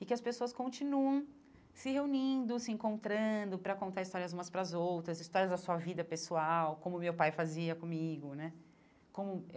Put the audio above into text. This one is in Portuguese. e que as pessoas continuem se reunindo, se encontrando para contar histórias umas para as outras, histórias da sua vida pessoal, como o meu pai fazia comigo né como.